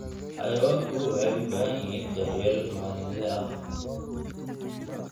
Xayawaanku waxay u baahan yihiin daryeel maalinle ah.